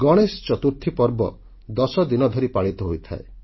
ଗଣେଶ ଚତୁର୍ଥୀ ପର୍ବ 10 ଦିନ ଧରି ପାଳିତ ହୋଇଥାଏ